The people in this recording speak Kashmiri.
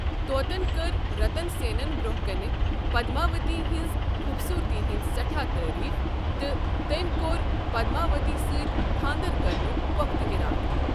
طوطن کٔر رَتن سیٚنَس برٛونٛہہ کنہِ پدماؤتی ہنٛزِ خوٗبصوٗرتی ہٕنٛز سٮ۪ٹھاہ تعٲریٖف، تہٕ تٔمۍ كوٚر پدماؤتی سۭتۍ خانٛدر کرنک پۄختہِ ارادٕ ۔